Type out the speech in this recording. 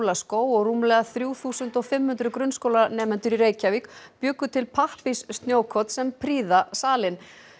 jólaskóg og rúmlega þrjú þúsund og fimm hundruð grunnskólanemendur í Reykjavík bjuggu til pappírs snjókorn sem prýða salinn